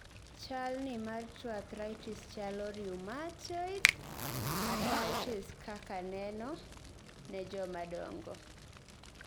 chalni mar tuo arthritis chalo rheumatoid arthritis kaka neno ne joma dongo